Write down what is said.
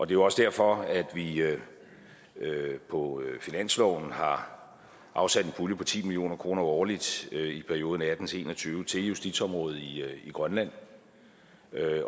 jo også derfor at vi på finansloven har afsat en pulje på ti million kroner årligt i perioden og atten til en og tyve til justitsområdet i grønland